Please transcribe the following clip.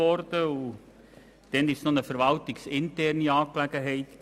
Damals war es noch eine verwaltungsinterne Angelegenheit.